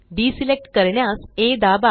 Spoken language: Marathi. डिसेलेक्ट करण्यास आ दाबा